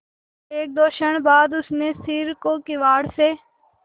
एकदो क्षण बाद उसने सिर को किवाड़ से